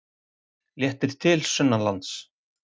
Léttir til sunnanlands